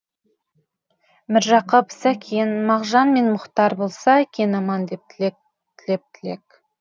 міржақып сәкен мағжан мен мұхтар болса екен аман деп тілеп тілек